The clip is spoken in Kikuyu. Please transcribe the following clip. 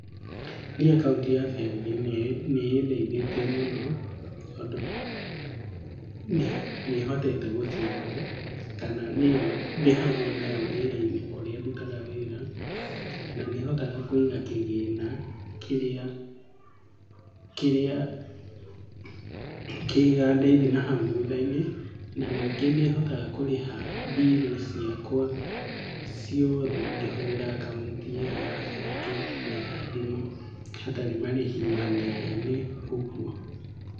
Niĩ akaunti ya bengi nĩĩndeithĩtie mũno, tondũ nĩhotete gũcĩbu kana nĩo ndĩhagwo nayo wĩra-inĩ kũrĩa ndutaga wĩra . Nanĩhotaga kũiga kĩgĩna kĩrĩa kĩgandeithia nahau thutha-inĩ. Nanyingĩ nĩhotaga kũrĩha mbiru ciakwa ciothe ngĩhũthĩra akaunti ĩo ya bengi na ya thimũ hatarĩ marĩhi manene ũguo.